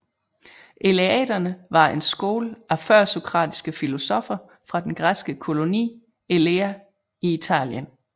Eleaterne var en skole af førsokratiske filosoffer fra den græske koloni Elea i Italien